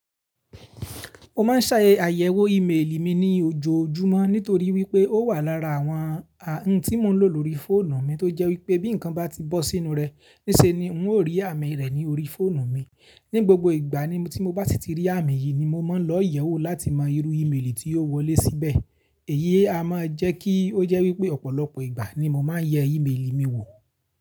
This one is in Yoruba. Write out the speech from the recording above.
Mo máa ń ṣàyẹ̀wò ímeèlì mi ní ojoojúmọ́ nítorí wípé ó wà lára àwọn ohun tí mo ń lò lórí fóònù mi tó jẹ́ wípé bí ǹkan bá ti bọ́ sínú rẹ̀ níṣe ni n ó rí àmì rẹ̀ ní orí fóònù mi. Ni gbogbo ìgbà ni tí mo bá ti rí àmì yìí ni mo máa lọ ìyẹ̀wù láti mọ irú ímeèlì tí ò wọlé síbẹ̀. Èyí a máa jẹ́ kí ó jẹ́ wípé ọ̀pọ̀lọpọ̀ ìgbà ni mo máa ń yẹ ímeèlì mi wò.